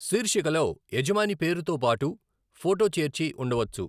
శీర్షికలో యజమాని పేరు తోబాటు ఫొటో చేర్చి ఉండవచ్చు.